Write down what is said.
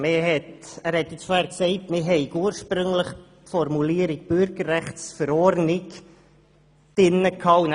Er hat gesagt, man habe ursprünglich die Formulierung gemäss neuer eidgenössischer Bürgerrechtsverordnung (BüV) gehabt.